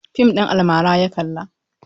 Fim ɗin almara ya kalla.